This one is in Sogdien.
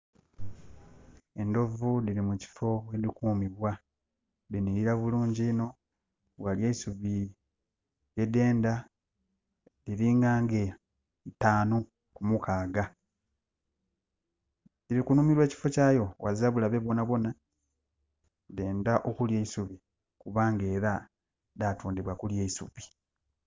Enhovu dhiri mukiffo mwedhi kumibwa dhinhirira bulungi inho. Ghali eisubi lyedhenda. Dhiri nga nge itaanu kumukaaga. Dhiri kunhumirwa ekiffo kyayo ghazira bulabe bwonabwona. Dheenda okulya eisubi kuba era dhatondabwa kulya isubi.